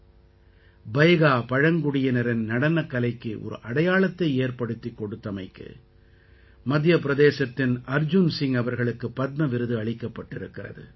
பைகா பைகா பழங்குடியினரின் நடனக்கலைக்கு ஒரு அடையாளத்தை ஏற்படுத்திக் கொடுத்தமைக்கு மத்திய பிரதேசத்தின் அர்ஜுன் சிங் அவர்களுக்கு பத்ம விருது அளிக்கப்பட்டிருக்கிறது